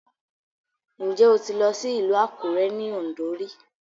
Ǹjẹ́ o ti lọ sí ìlú Àkúré ní Ọ̀ǹdó rí?